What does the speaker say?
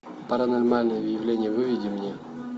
паранормальное явление выведи мне